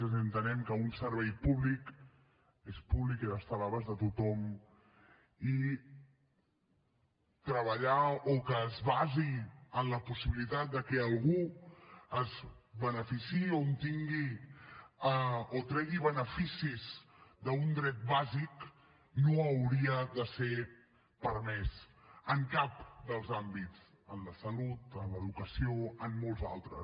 és a dir entenem que un servei públic és públic i ha d’estar a l’abast de tothom i treballar o que es basi en la possibilitat de que algú es beneficiï o tregui beneficis d’un dret bàsic no hauria de ser permès en cap dels àmbits en la salut en l’educació en molts altres